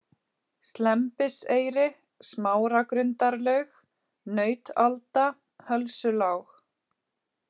Slembiseyri, Smáragrundarlaug, Nautalda, Hölsulág